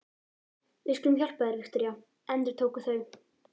Við skulum hjálpa þér, Viktoría, endurtóku þau.